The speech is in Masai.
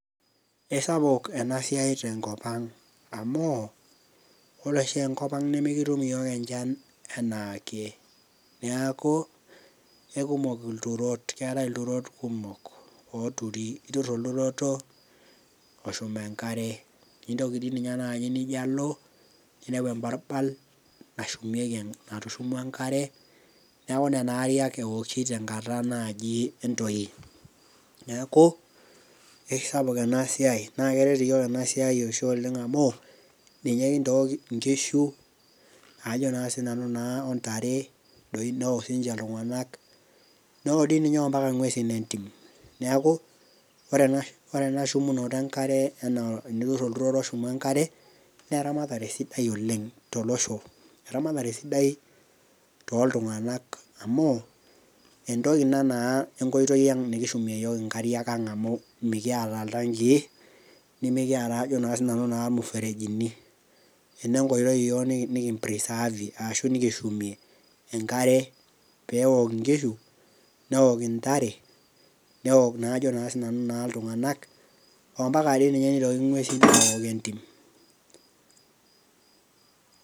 keisapuk ena siai te nkop ang amu, ore oshi enkop ang nemikitum iyiook enchan anaake, niaku aikumok ilturot, keetae ilturot kumok, ooturi, itur olturoto oshum enkaere, intoki dii ninye naaji nijo alo, nineu ebarbal, natushumua enkare, neeku nena ariak eooki naaji te nakata entoi. neeku, eisapuk ena siai naa keret iyiook ena siai oleng amu ,ninye kintook inkishu, ajo naa sii nanu naa ontare, neok sii ninche iltungank, neok dii ninye ampaka nguesin entim, neeku ore ena shumunore enakre, tenitur olturoto oshumu enkare, naa eramatere sidai oleng tolosho. eramatare sidai tooltungnak amu entoki ina naa enkoitoi ang nikishumie iyiook inkariak ang amu mikiata iltankii. ajo sii nanu nimikiata ilmuferejini. ena enkoitoi iyiook niki preserve ashu nikishumie enkare peeok inkishu, neok intare ajo sii nanu naa iltunganak amapaka nitoki nguesin naa aok entim.